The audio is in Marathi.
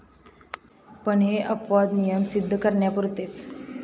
पण हे अपवाद नियम सिद्ध करण्यापुरतेच.